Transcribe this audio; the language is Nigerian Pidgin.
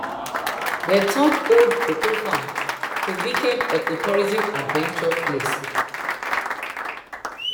dem turn old cocoa farm to weekend ecotourism adventure place